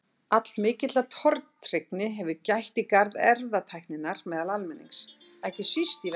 Allmikillar tortryggni hefur gætt í garð erfðatækninnar meðal almennings, ekki síst í Vestur-Evrópu.